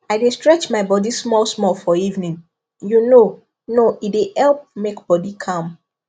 i dey stretch my body small small for evening you know know e dey help make body calm